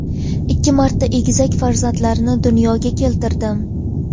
Ikki marta egizak farzandlarni dunyoga keltirdim.